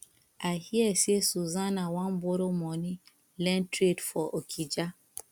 i hear say susanna wan borrow money learn trade for okija